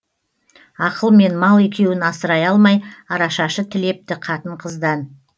ақыл мен мал екеуін асырай алмай арашашы тілепті қатын қыздан